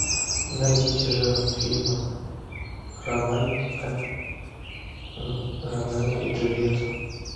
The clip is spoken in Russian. найдите жанр фильма романтика ромео и джульетта